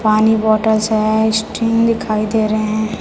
पानी बॉटल्स है स्टिंग दिखाई दे रहे--